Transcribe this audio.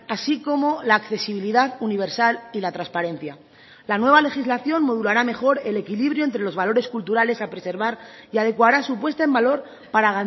así como la accesibilidad universal y la transparencia la nueva legislación modulará mejor el equilibrio entre los valores culturales a preservar y adecuará su puesta en valor para